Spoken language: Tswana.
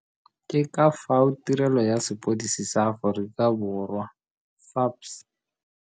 Ke ka fao Tirelo ya Sepodisi sa Aforikaborwa, SAPS.